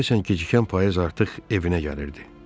Deyəsən gecikən payız artıq evinə gəlirdi.